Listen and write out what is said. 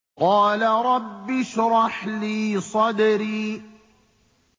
قَالَ رَبِّ اشْرَحْ لِي صَدْرِي